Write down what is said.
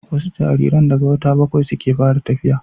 wasu jaririn daga wata bakwai suke fara tafiya